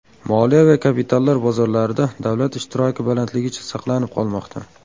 Moliya va kapitallar bozorlarida davlat ishtiroki balandligicha saqlanib qolmoqda.